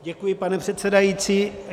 Děkuji, pane předsedající.